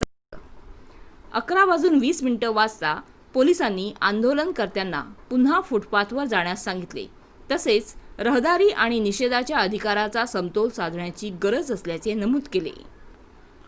11:20 वाजता पोलिसांनी आंदोलनकर्त्यांना पुन्हा फुटपाथवर जाण्यास सांगितले तसेच रहदारी आणि निषेधाच्या अधिकाराचा समतोल साधण्याची गरज असल्याचे नमूद केले